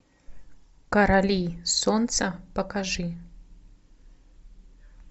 короли солнца покажи